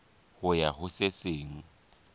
ho ya ho se seng